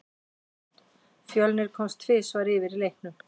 Fjölnir komst tvisvar yfir í leiknum.